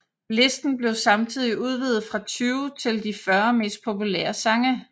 Listen blev samtidig udvidet fra 20 til de 40 mest populære sange